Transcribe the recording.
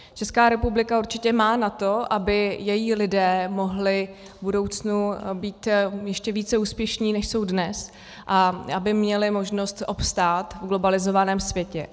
Česká republika určitě má na to, aby její lidé mohli v budoucnu být ještě více úspěšní, než jsou dnes, a aby měli možnost obstát v globalizovaném světě.